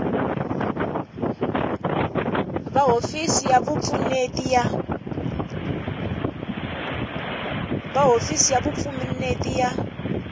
va hofisi ya vupfuneti ya